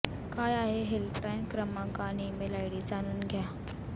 काय आहेत हेल्पलाइन क्रमांक आणि इमेल आयडी जाणून घ्या